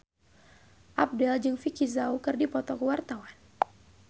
Abdel jeung Vicki Zao keur dipoto ku wartawan